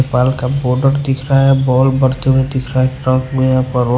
के बॉर्डर दिख रहा है बॉल बढ़ते हुए दिख रहा है कंक में--